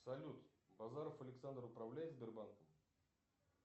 салют базаров александр управляет сбербанком